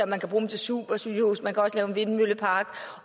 man bruge dem til supersygehuse man kan også lave en vindmøllepark